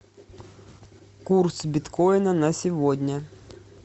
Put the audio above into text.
курс биткоина на сегодня